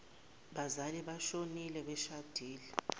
bazali boshonile beshadile